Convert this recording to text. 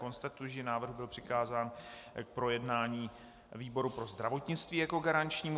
Konstatuji, že návrh byl přikázán k projednání výboru pro zdravotnictví jako garančnímu.